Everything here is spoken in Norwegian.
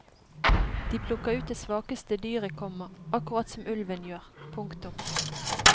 De plukker ut det svakeste dyret, komma akkurat som ulven gjør. punktum